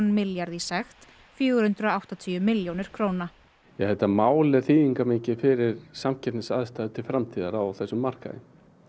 milljarð í sekt fjögur hundruð og áttatíu milljónir króna þetta mál er þýðingarmikið fyrir samkeppnisaðstæður til framtíðar á þessum markaði